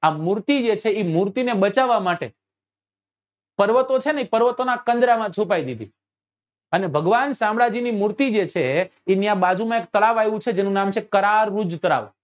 આ મૂર્તિ જે છે એ મૂર્તિ ને બચવવા માટે પર્વતો જે છે ને એ પર્વતો ની કન્જ્રા માં છુપાવી દીધી અને ભગવાન શામળાજી ની મૂર્તિ જે છે એ ત્યાં બાજુ માં એક તળાવ આવ્યું છે જેનું નામ છે કરાર્વુજ તળાવ